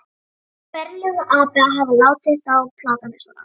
Ferlegur api að hafa látið þá plata mig svona.